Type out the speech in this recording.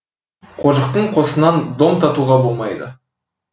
қожықпен қосынан дом татуға болмайды